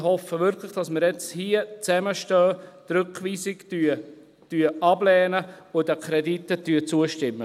Ich hoffe jetzt wirklich, dass wir hier zusammenstehen, die Rückweisung ablehnen und den Krediten zustimmen.